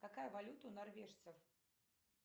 какая валюта у норвежцев